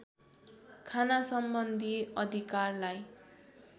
खाना सम्बन्धि अधिकारलाई